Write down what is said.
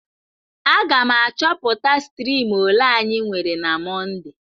Aga m achọpụta striim ole anyị nwere na Mọnde.